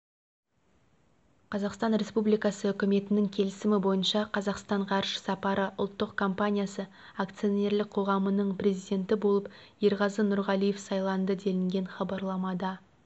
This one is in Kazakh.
қазақстан республикасы үкіметінің келісімі бойынша қазақстан ғарыш сапары ұлттық компаниясы акционерлік қоғамының президенті болып ерғазы нұрғалиев сайланды делінген хабарламада